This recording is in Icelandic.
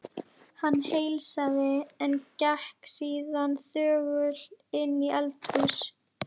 Hann heilsaði, en gekk síðan þögull inn í eldhús.